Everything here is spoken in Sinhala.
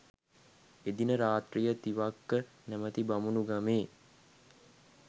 එදින රාත්‍රිය තිවක්ක නැමති බමුණු ගමේ